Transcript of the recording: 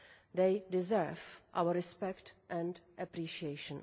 They deserve our respect and appreciation.